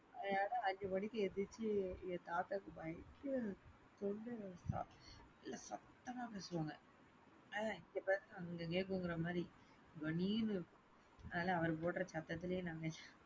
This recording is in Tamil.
ஏ அஞ்சு மணிக்கு எந்திரிச்சு எங்க தாத்தாக்கு பயங்கர தொண்டை அதனால சத்தமா பேசுவாங்க இங்க பேசுன அங்க கேக்குங்குற மாதிரி கணீர்னு அதனால அவர் போடுற சத்ததுலையே நாங்க,